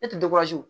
Ne tɛ